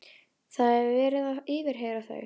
Það er verið að yfirheyra þau.